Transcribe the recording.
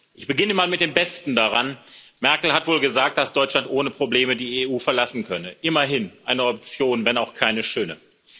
Ich beginne mal mit dem Besten daran Merkel hat wohl gesagt, dass Deutschland ohne Probleme die EU verlassen könne. Immerhin eine Option, wenn auch keine schöne.